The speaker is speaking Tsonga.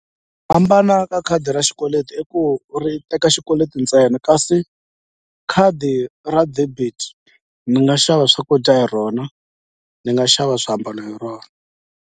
Ku hambana ka khadi ra xikweleti i ku ri teka xikweleti ntsena kasi khadi ra debit ni nga xava swakudya hi rona ni nga xava swiambalo hi rona.